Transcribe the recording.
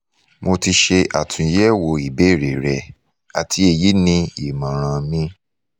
mo ti ṣe atunyẹwo ìbéèrè rẹ ati eyi ni imọran mi